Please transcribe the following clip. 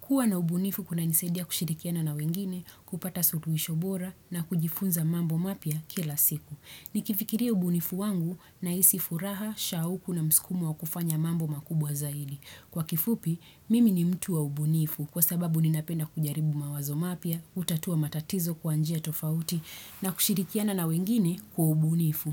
Kua na ubunifu kuna nisedia kushirikiana na wengine, kupata sotuishobora na kujifunza mambo mapia kila siku. Nikifikiria ubunifu wangu na isi furaha, shauku na mskumu wa kufanya mambo makubwa zaidi. Kwa kifupi, mimi ni mtu wa ubunifu kwa sababu ninapena kujaribu mawazo mapya, utatua matatizo kwa njia tofauti na kushirikiana na wengine kwa ubunifu.